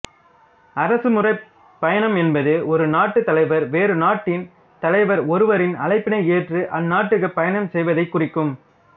அரசுமுறைப் பயணம் என்பது ஒரு நாட்டுத் தலைவர் வேற்று நாட்டின் தலைவர் ஒருவரின் அழைப்பினை ஏற்று அந்நாட்டுக்கு பயணம் செய்வதைக்குறிக்கும்